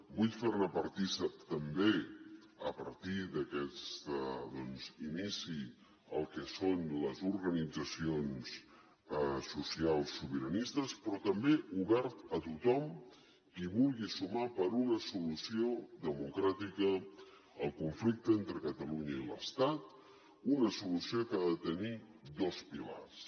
vull ferne partícip també a partir d’aquest inici el que són les organitzacions socials sobiranistes però també obert a tothom qui vulgui sumar per una solució democràtica al conflicte entre catalunya i l’estat una solució que ha de tenir dos pilars